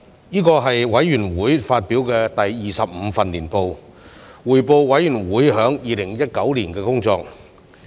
這是委員會發表的第二十五份年報，匯報委員會在2019年的工作。